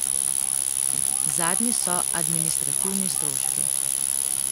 Zadnji so administrativni stroški.